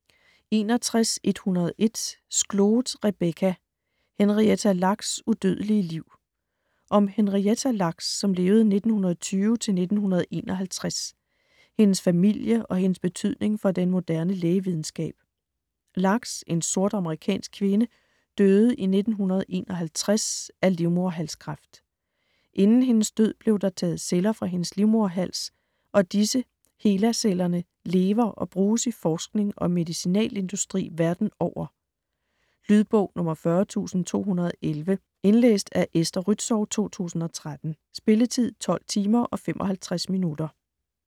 61.101 Skloot, Rebecca: Henrietta Lacks' udødelige liv Om Henrietta Lacks (1920-1951), hendes familie og hendes betydning for den moderne lægevidenskab. Lacks, en sort amerikansk kvinde, døde i 1951 af livmoderhalskræft. Inden hendes død blev der taget celler fra hendes livmoderhals, og disse, HeLa-cellerne, lever og bruges i forskning og medicinalindustri verden over. Lydbog 40211 Indlæst af Esther Rützou, 2013. Spilletid: 12 timer, 55 minutter.